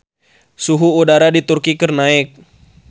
Suhu udara di Turki keur naek